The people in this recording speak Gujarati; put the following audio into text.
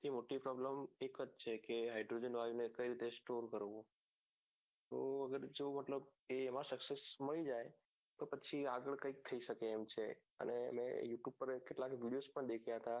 કે મોટી problem એક જ છે કે hydrogen વાયુ કઈ રીતે store કરવું તો અગર જો મતલબ એમાં success મળી જાય તો પછી આગળ કઇક થઇ શકે એમ છે અને મેં you tube પર કેટલાક videos પણ દેખ્યા હતા